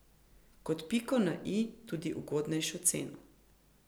Kot piko na i tudi ugodnejšo ceno.